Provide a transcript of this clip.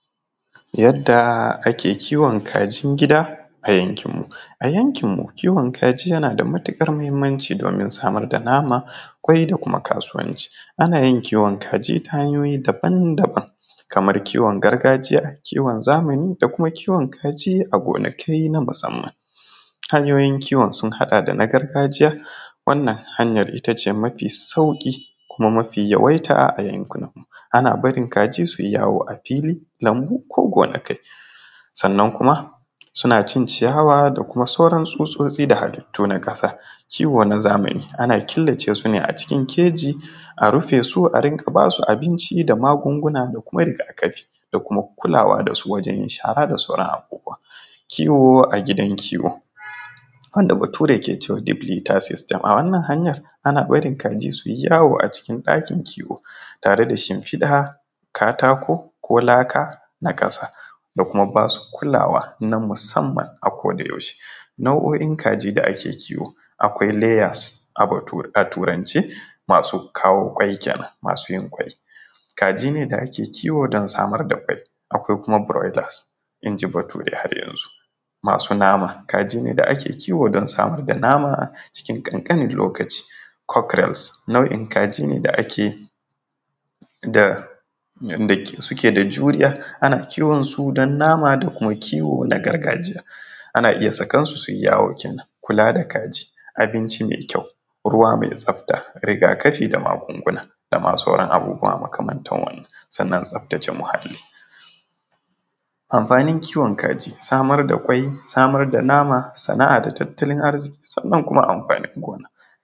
Yadda ake kiwon kajin gida a yankin mu, a yankin mu kiwon kaji yana da matukar muhimmanci domin samar da nama kwai da kuma kasuwanci, ana yin kiwon kaji ta hanyoyi daban-daban kamar iwon gargajiya, kiwon zamani da kuma kiwon kaji a gonakai na musamman, hanyoyin kiwon sun haɗa da na gargajiya wannan hanyar it ace mafi sauki kuma mafi yawaita a yunkunan mu, ana barin kaji suyi yawo a fili lambu ko gonakai sannan kuma suna cin ciyawa da kuma sauran susosi da hallitu na kasa, kiwo na zamani ana killace su ne a cikin keji a rufe su a rinka basu abinci dama magunguna da kuma rigakafi da kuma kulawa da su wajen shara da sauran abubuwa kiwo a gidan kiwo wanda bature ke cewa diplexer system a wannan hanya ana barin kaji suyi yawo a cikin dakin kiwo tare da shinfiɗa katako ko laka na kasa da kuma basu kulawa na musamman a koda yaushe, nau’o’in kaji da ake kiwo kwai layers a turance masu kawo kwai kenan masu yin kwai, kaji ne da da ake kiwo don samar da kwai, akwai kuma broilers inji bature har yanzu masu nama kaji ne da ake kiwo don samar da nama cikin kankanin lokaci, kockros nau’in kaji ne da ake suke da juriya ana kiwon su don nama da kuma kiwo na gargajiya ana iya sakansu suyi yawo kenan. Kula da kaji, abinci mai kyau, ruwa mai tsafta, ragakafi da magunguna da ma sauran abubuwa magamantan wannan sannan tsaftace muhali. Amfanin kiwon kaji, samar da ƙwai samar da nama sana’a da tattalin arziki sannan kuma amfanin gona.